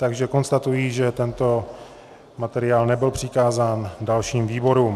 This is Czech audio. Takže konstatuji, že tento materiál nebyl přikázán dalším výborům.